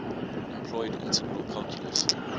employed integral calculus